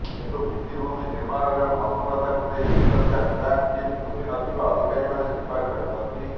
କିନ୍ତୁ ଭିତ୍ତିଭୂମି ନିର୍ମାଣରେ ମନ୍ଥରତାକୁ ନେଇ ବିଶ୍ୱବ୍ୟାଙ୍କ୍ ଟିମ୍ ଖୁସିନଥିବା ଅଧିକାରୀମାନେ ସ୍ୱୀକାର କରିଛନ୍ତି